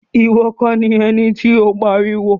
Iwọ kọ ni ẹní ti o n pariwo.